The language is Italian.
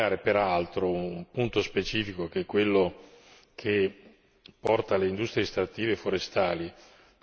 che porta le industrie estrattive e forestali a riportare ogni loro pagamento fatto ai governi.